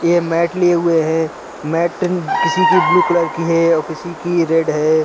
ये मैंट लिए हुए हैं मैंट किसी की ब्लू कलर की है और किसी की रेड है।